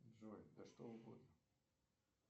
джой да что угодно